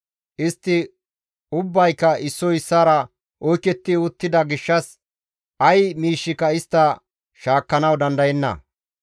Istti ubbayka issoy issaara oyketti uttida gishshas ay miishshika istta shaakkanawu dandayenna.